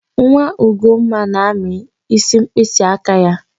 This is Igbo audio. Nwa Ugomma na-amị ísí mkpịsịaka ya.